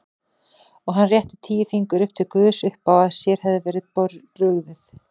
Og hann rétti tíu fingur upp til guðs uppá að sér hefði verið brugðið.